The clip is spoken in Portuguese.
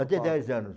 Até dez anos.